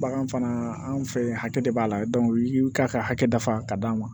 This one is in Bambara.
Bagan fana anw fɛ yen hakɛ de b'a la i y'u ka hakɛ dafa k'a d'an ma